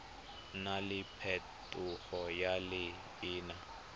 nna le phetogo ya leina